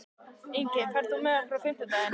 Ingi, ferð þú með okkur á fimmtudaginn?